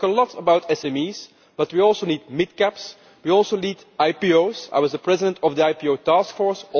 We talk a lot about SMEs, but we also need mid caps, we also need IPOs I was the president of the IPO Task Force.